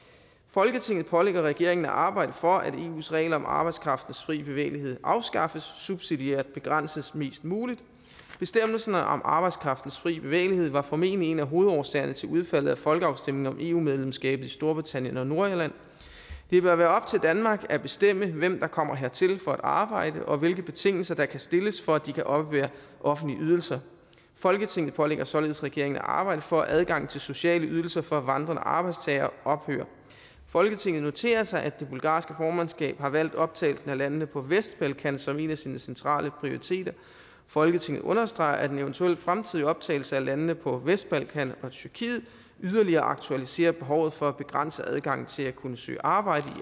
folketinget pålægger regeringen at arbejde for at eus regler om arbejdskraftens frie bevægelighed afskaffes subsidiært begrænses mest muligt bestemmelserne om arbejdskraftens frie bevægelighed var formentlig en af hovedårsagerne til udfaldet af folkeafstemningen om eu medlemskabet i storbritannien og nordirland det bør være op til danmark at bestemme hvem der kommer hertil for at arbejde og hvilke betingelser der kan stilles for at de kan oppebære offentlige ydelser folketinget pålægger således regeringen at arbejde for at adgangen til sociale ydelser for vandrende arbejdstagere ophører folketinget noterer sig at det bulgarske formandskab har valgt optagelsen af landene på vestbalkan som en af sine centrale prioriteter folketinget understreger at en eventuel fremtidig optagelse af landene på vestbalkan og tyrkiet yderligere aktualiserer behovet for at begrænse adgangen til at kunne søge arbejde